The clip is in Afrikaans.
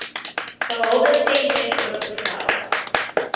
behalwe sentech oopgestel